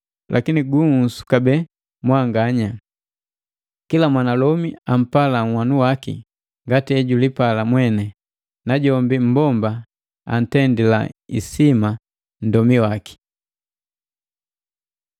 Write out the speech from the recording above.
Lakini gunhusu kabee mwanganya: Kila mwanalomi ampala nhwanu waki ngati ejulipala mweni, najombi mmbomba antendila isima nndomi waki.